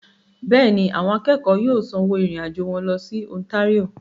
Bẹ́ẹ̀ni, àwọn akẹ́kọ̀ọ́ yóò sanwó ìrìn-àjò wọn lọ sí Ontario.